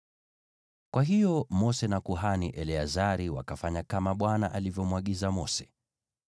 Kwa hiyo Mose na kuhani Eleazari wakafanya kama Bwana alivyomwagiza Mose.